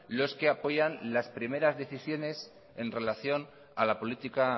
los que apoyan las primeras decisiones en relación a la política